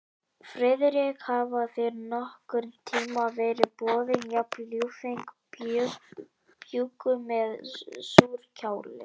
Friðrik, hafa þér nokkurn tíma verið boðin jafn ljúffeng bjúgu með súrkáli?